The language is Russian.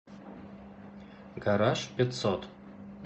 гараж пятьсот